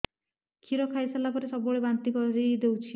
କ୍ଷୀର ଖାଇସାରିଲା ପରେ ସବୁବେଳେ ବାନ୍ତି କରିଦେଉଛି